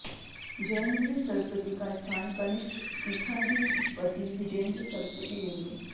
जयेंद्र सरस्वती का स्थान कनिष्ठ पीठाधिपति विजयेंद्र सरस्वती लेंगे